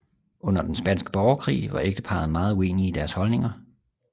Under den Spanske Borgerkrig var ægteparret meget uenige i deres holdninger